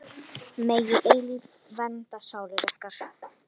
Megi eilífð vernda sálir ykkar.